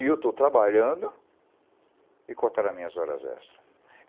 E eu estou trabalhando e cortaram as minhas horas extras.